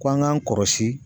Ko an ga n kɔlɔsi